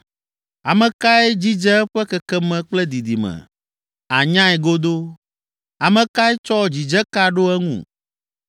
Ame kae dzidze eƒe kekeme kple didime? Ànyae godoo! Ame kae tsɔ dzidzeka ɖo eŋu?